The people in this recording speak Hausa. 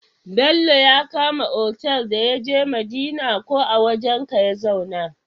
Bello ya kama otal da yaje madina ko a wajan ka ya zauna?